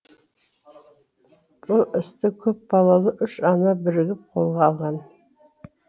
бұл істі көпбалалы үш ана бірігіп қолға алған